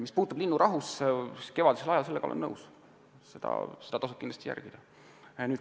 Mis puutub linnurahusse, siis kevadisel ajal tasub seda kindlasti järgida – sellega olen nõus.